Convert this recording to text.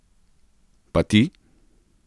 Pa ti?